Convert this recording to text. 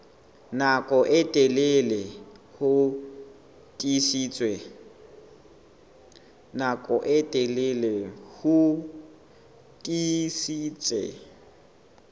nako e telele ho tiisitse